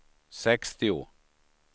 sextio